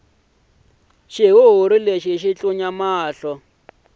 xihuhuri lexi xi tlunya mahlo